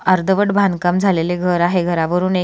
अर्धवट बांधकाम झालेलं एक घर आहे घरावरून एक--